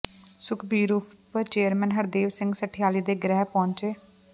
ਸੁਖਬੀਰ ਉਪ ਚੇਅਰਮੈਨ ਹਰਦੇਵ ਸਿੰਘ ਸਠਿਆਲੀ ਦੇ ਗ੍ਰਹਿ ਪਹੁੰਚੇ